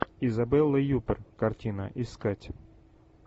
изабелла юппер картина искать